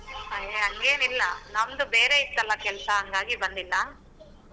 ಅಯ್ಯ ಹಂಗೆನಿಲ್ಲಾ ನಮ್ದು ಬೇರೆ ಇತ್ತಲಾ ಕೆಲ್ಸ ಹಂಗಾಗಿ ಬಂದಿಲ್ಲಾ.